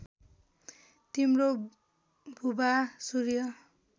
तिम्रो बुवा सूर्य